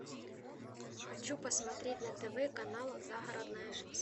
хочу посмотреть на тв канал загородная жизнь